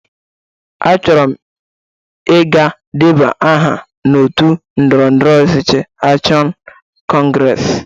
Achọrọ m iga deba aha n'otu ndọrọndọrọ ọchịchị Akshọn Kọngres.